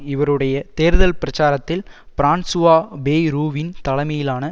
இவருடைய தேர்தல் பிரச்சாரத்தில் பிரான்சுவா பேய்ரூவின் தலைமையிலான